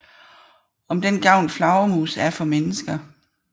Om den gavn flagermus er for mennesker